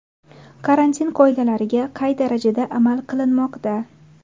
Karantin qoidalariga qay darajada amal qilinmoqda?.